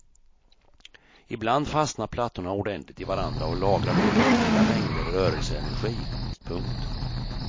Ibland fastnar plattorna ordentligt i varandra och lagrar då väldiga mängder rörelseenergi. punkt